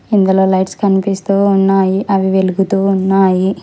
ఇందులో లైట్స్ కనిపిస్తూ ఉన్నాయి అవి వెలుగుతూ ఉన్నాయి.